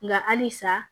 Nka halisa